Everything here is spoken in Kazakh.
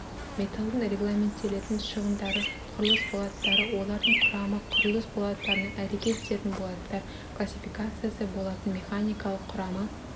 металлдың регламенттелетін шығындары құрылыс болаттары олардың құрамы құрылыс болаттарына әрекет ететін болаттар классификациясы болаттың механикалық құрамы